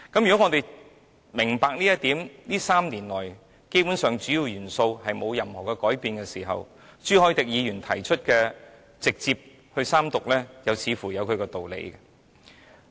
如果我們明白這一點，而主要元素在這3年來基本上沒有任何改變的時候，朱凱廸議員提出直接進入三讀的建議又似乎有其道理。